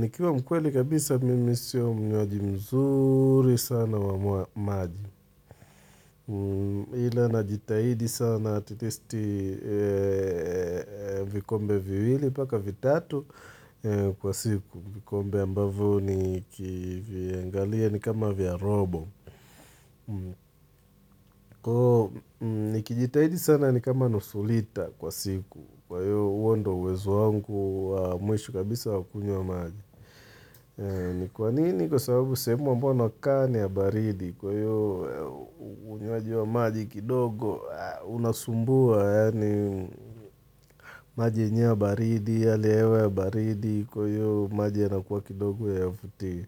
Nikiwa mkweli kabisa mimi siyo mnyoaji mzuri sana wa maji. Hila najitahidi sana atitesti vikombe viwili, paka vitatu kwa siku. Vikombe ambavyo ni kiviangalia ni kama vyarobo. Kwa nikijitahidi sana ni kama nosu lita kwa siku. Kwa hiyo uondo uwezo wangu wa mwisho kabisa wa ukunywa maji. Ni kwa nini kwa sababu sehemu ambayo nakaa ni ya baridi Kwa hio unywaji wa maji kidogo unasumbua Yaani maji yenyewe ya baridi, yaani hewa ya baridi Kwa hio maji yanakuwa kidogo hayavutii